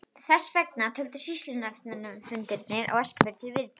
Þess vegna töldust sýslunefndarfundirnir á Eskifirði til viðburða.